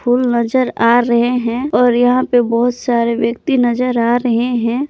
फूल नजर आ रहे हैं और यहां पे बहुत सारे व्यक्ति नजर आ रहे हैं।